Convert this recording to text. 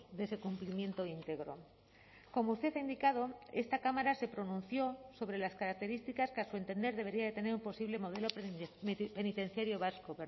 de ese cumplimiento íntegro como usted ha indicado esta cámara se pronunció sobre las características que a su entender debería de tener un posible modelo penitenciario vasco